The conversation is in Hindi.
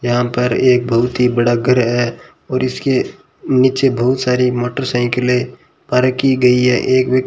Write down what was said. यहां पर एक बहुत ही बड़ा घर है और इसके नीचे बहुत सारी मोटरसाइकिले पार्क की गई है एक व्यक्ति --